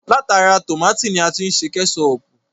Látara tómátì ni a ti ṣe Kẹ́ṣọpù